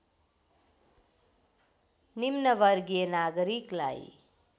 निम्न वर्गीय नागरिकलाई